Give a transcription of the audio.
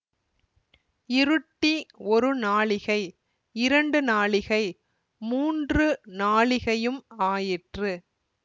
இருட்டி ஒரு நாழிகை இரண்டு நாழிகை மூன்று நாழிகையும் ஆயிற்று